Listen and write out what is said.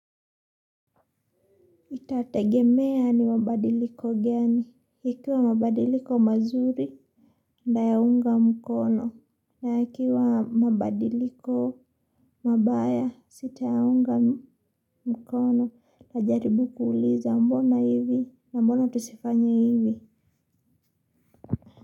Itategemea ni mabadiliko gani, ikiwa mabadiliko mazuri nayaunga mkono na ikiwa mabadiliko mabaya sitayaunga mkono najaribu kuuliza mbona hivi na mbona tusifanye hivi.